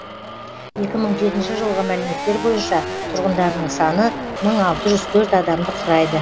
екі мың жетінші жылғы мәліметтер бойынша тұрғындарының саны мың алты жүз төрт адамды құрайды